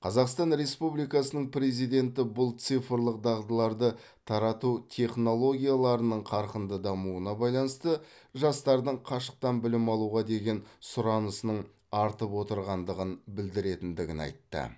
қазақстан республикасының президенті бұл цифрлық дағдыларды тарату технологияларының қарқынды дамуына байланысты жастардың қашықтан білім алуға деген сұранысының артып отырғандығын білдіретіндігін айтты